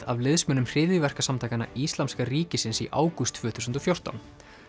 af liðsmönnum hryðjuverkasamtakanna Íslamska ríkisins í ágúst tvö þúsund og fjórtán